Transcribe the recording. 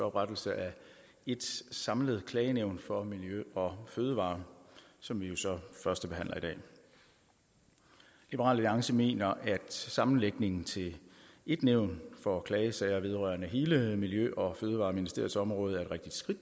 oprettelse af ét samlet klagenævn for miljø og fødevarer som vi jo så førstebehandler i dag liberal alliance mener at sammenlægningen til ét nævn for klagesager vedrørende hele miljø og fødevareministeriets område er et rigtigt skridt